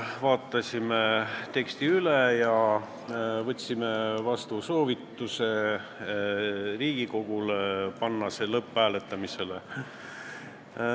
Vaatasime teksti üle ja otsustasime teha Riigikogule ettepaneku panna eelnõu hääletamisele.